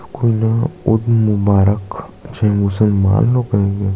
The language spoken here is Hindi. कोई ना उइड मुबारक छे मुसलमान लोग कहैंगे --